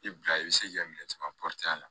I bila i bɛ se k'i ka minɛn caman a la